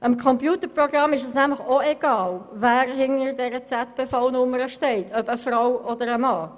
Dem Computerprogramm ist es nämlich auch egal, wer hinter dieser ZPV-Nummer steht: Ob eine Frau oder ein Mann.